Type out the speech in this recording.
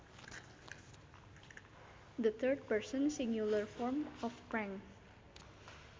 The third person singular form of prank